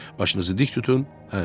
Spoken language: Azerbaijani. Başınızı dik tutun.